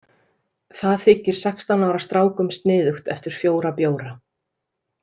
Það þykir sextán ára strákum sniðugt eftir fjóra bjóra.